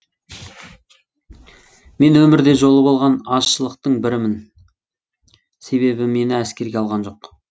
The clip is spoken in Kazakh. мен өмірде жолы болған азшылықтың бірімін себебі мені әскерге алған жоқ